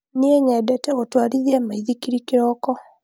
Niĩ nyendete gũtwarithia maithikiri kĩroko.